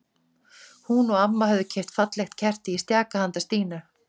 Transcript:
Hún og amma höfðu keypt fallegt kerti í stjaka handa Stínu.